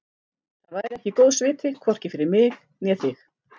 Það væri ekki góðs viti, hvorki fyrir mig né þig.